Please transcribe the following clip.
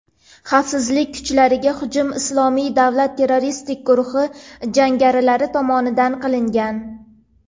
xavfsizlik kuchlariga hujum "Islomiy davlat" terroristik guruhi jangarilari tomonidan qilingan.